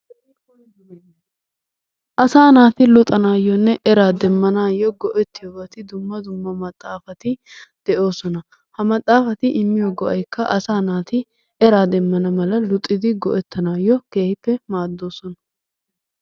Asaa naati luxanaayyonne eraa demmanaayyo go'ettiyobati dumma dumma maxaafati de'oosona. Ha maxaafati immiyo go'aykka asaa naati eraa demmana mala luxidi go'ettanaayyo keehippe maaddoosona.